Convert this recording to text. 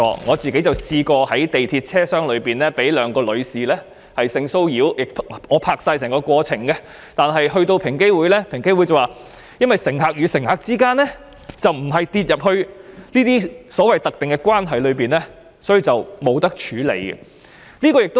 我曾試過在地鐵車廂內被兩名女士性騷擾，雖然我已拍攝整個過程，但平機會指由於乘客與乘客之間的關係並不屬於所謂的"特定關係"，所以無法處理。